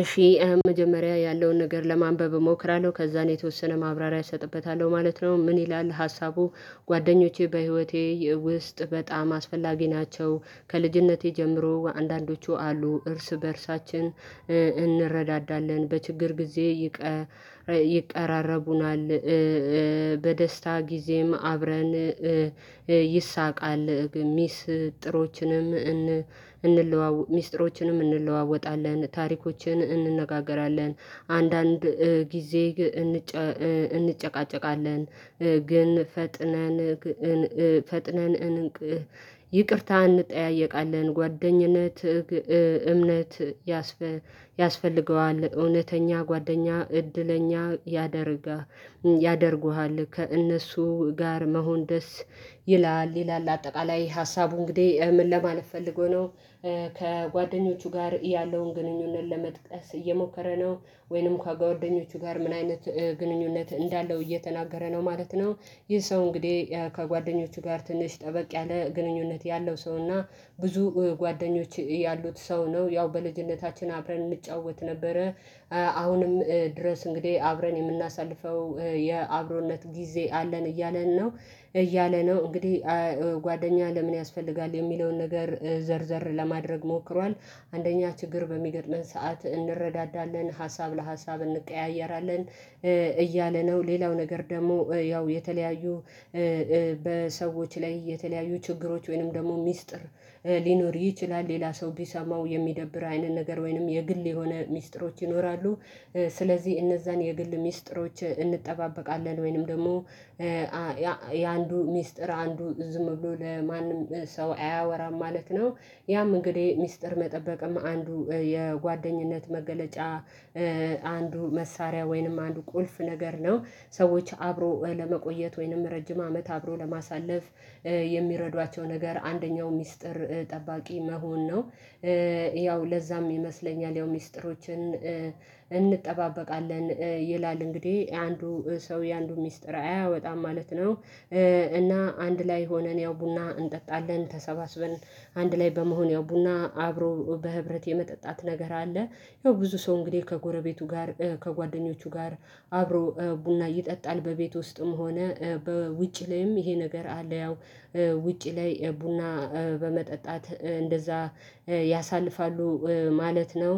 እሺ መጀመሪያ ያለውን ነገር ለማንበብ እሞክራለሁ ከዛን የተወሰነ ማብራሪያ እሰጥበታለሁ ማለት ነው ምን ይላል ሀሳቡ? ጓደኞቼ በህይወቴ ውስጥ በጣም አስፈላጊ ናቸው። ከልጅነቴ ጀምሮ አንዳንዶቹ አሉ እርስ በእርሳችን እንረዳዳለን በችግር ጊዜ ይቀራረቡናል። በደስታ ጊዜም አብረን ይሳቃል ሚስጥሮችን ሚስጥሮችንም እንለዋወጣለን ታሪኮችን እንነጋገራለን አንዳንድ ጊዜ እንጨቃጨቃለን። ግን ፈጥነን ፈጥነን ይቅርታ እንጠያየቃለን ጓደኝነት እምነት ያስፈልገዋል እውነተኛ ጓደኛ እድለኛ ያደርጋ ያደርጉሃል ከእነሱ ጋር መሆን ደስ ይላል ይላል። አጠቃላይ ሀሳቡ እንግዲህ ምን ለማለት ፈልጎ ነው። ከጓደኞቹ ጋር ያለውን ግንኙነት ለመጥቀስ እየሞከረ ነው ወይንም ከጓደኞቹ ጋር ምን አይነት ግንኙነት እንዳለው እየተናገረ ነው ማለት ነው? ይህ ሰው እንግዲህ ከጓደኞቹ ጋር ትንሽ ጠበቅ ያለ ግንኙነት ያለው ሰው እና ብዙ ጓደኞች ያሉት ሰው ነው ያው በልጅነታችን አብረን እንጫወት ነበረ። አሁንም ድረስ እንግዲህ አብረን የምናሳልፈው የአብሮነት ጊዜ አለን እያለን ነው። እያለ ነው እንግዲህ ጓደኛ ለምን ያስፈልጋል? የሚለውን ነገር ዘር ዘር ለማድረግ ሞክሯል አንደኛ ችግር በሚገጥመን ሰዓት እንረዳዳለን ሀሳብ ለሀሳብ እንቀያየራለን። እያለ ነው ሌላው ነገር ደግሞ ያው የተለያዩ በሰዎች ላይ የተለያዩ ችግሮች ወይንም ደግሞ ሚስጥር ሊኖር ይችላል ሌላ ሰው ቢሰማው የሚደብር አይነት ነገር ወይንም የግል የሆነ ሚስጥሮች ይኖራሉ። ስለዚህ እነዛን የግል ሚስጥሮች እንጠባበቃለን ወይንም ደግሞ የአንዱ ሚስጥር አንዱ ዝም ብሎ ለማንም ሰው አያወራም ማለት ነው። ያም እንግዲህ ሚስጥር መጠበቅም አንዱ የጓደኝነት መገለጫ አንዱ መሳሪያ ወይንም አንዱ ቁልፍ ነገር ነው ሰዎች አብሮ ለመቆየት ወይንም ረጅም አመት አብሮ ለማሳለፍ የሚረዷቸው ነገር አንደኛው ሚስጥር ጠባቂ መሆን ነው። ያው ለዛም ይመስለኛል ያው ሚስጥሮችን እንጠባበቃለን ይላል እንግዲህ አንዱ ሰው የአንዱ ሚስጥር አያወጣም ማለት ነው። እና አንድ ላይ ሆነን ያው ቡና እንጠጣለን ተሰባስበን አንድ ላይ በመሆን ያው ቡና አብሮ በህብረት የመጠጣት ነገር አለ። ያው ብዙ ሰው እንግዲህ ከጎረቤቱ ጋር ከጓደኞቹ ጋር አብሮ ቡና ይጠጣል በቤት ውስጥም ሆነ በውጭ ላይም ይሄ ነገር አለ ያው ውጭ ላይ ቡና በመጠጣት እንደዛ ያሳልፋሉ ማለት ነው።